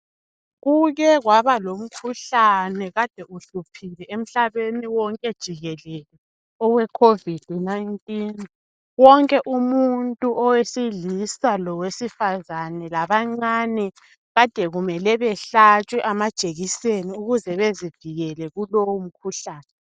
Kuke kwaba lomkhuhlane ade uhluphile emhlabeni wonke jikelele oweCOVID 19.Wonke umuntu owesilisa lowesifazana labancane adekumele behlatshwe amajekiseni ukuze bezivikele kulowo mkhuhlane .